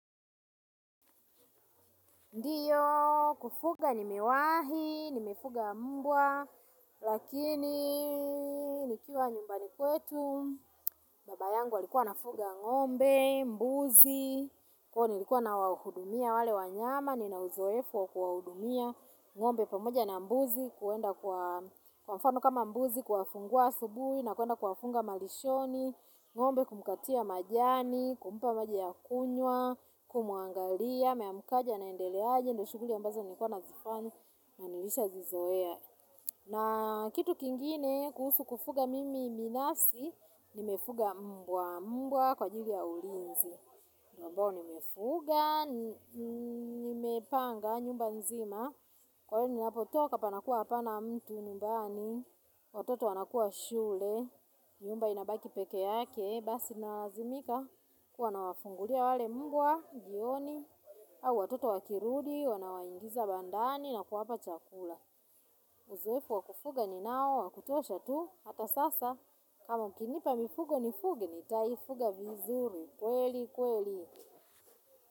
Ndiyo, kufuga nimewahi, nimefuga mbwa, lakini nikiwa nyumbani kwetu, baba yangu alikuwa anafuga ng'ombe, mbuzi, kuwa nilikuwa nawahudumia wale wanyama, nina uzoefu wakuwahudumia, ng'ombe pamoja na mbuzi, kuwenda kwa mfano kama mbuzi, kuwafungua asubuhi, na kwenda kuwafunga malishoni, ng'ombe kumkatia majani, kumpa maji ya kunywa, kumwangalia, ameamkaje anaendeleaje, ndo shughuli ambazo nilikuwa nazifanya na nilisha zizoea. Na kitu kingine kuhusu kufuga mimi binasi, nimefuga mbwa mbwa kwa ajili ya ulinzi. Ambao nimefuga, nimepanga nyumba nzima, kwa hiyo ninapotoka panakua hapana mtu nyumbani, watoto wanakuwa shule, nyumba inabaki pekee yake, basi naazimika, kuwa na wafungulia wale mbwa, jioni, au watoto wakirudi, wanawaingiza bandani na kuwapa chakula. Uzoefu wakufuga ni nao wa kutosha tu, hata sasa, kama mkinipa mifugo nifuge nitaifuga vizuri, kweli kweli.